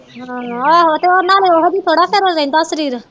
ਹਮ ਆਹ ਤੇ ਨਾਲੇ ਓਹਜੀ ਥੋੜਾ ਫੇਰ ਰਹਿੰਦਾ ਸਰੀਰ